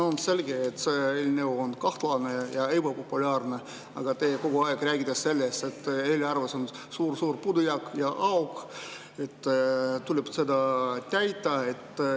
No on selge, et see eelnõu on kahtlane ja ebapopulaarne, aga te kogu aeg räägite sellest, et eelarves on suur-suur puudujääk ja et see auk tuleb täita.